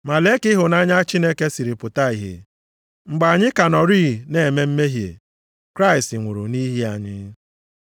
Ma lee ka ịhụnanya Chineke siri pụta ìhè! Mgbe anyị ka nọrịị na-eme mmehie, Kraịst nwụrụ nʼihi anyị.